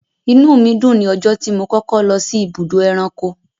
Inúù mi dùn ní ọjọ́ tí mo kọ́kọ́ lọ sí ibùdó ẹranko.